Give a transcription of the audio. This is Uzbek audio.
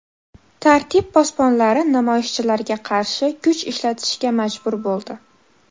Tartib posbonlari namoyishchilarga qarshi kuch ishlatishga majbur bo‘ldi.